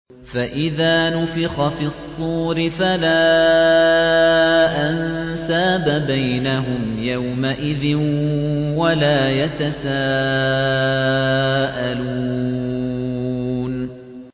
فَإِذَا نُفِخَ فِي الصُّورِ فَلَا أَنسَابَ بَيْنَهُمْ يَوْمَئِذٍ وَلَا يَتَسَاءَلُونَ